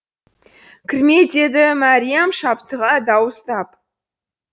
кірме деді мәриям шаптыға дауыстап